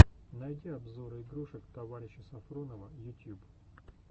найти обзоры игрушек товарища сафронова ютьюб